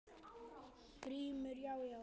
GRÍMUR: Já, já!